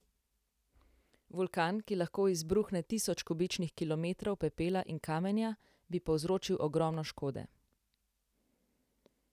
Vulkan, ki lahko izbruhne tisoč kubičnih kilometrov pepela in kamenja, bi povzročil ogromno škode.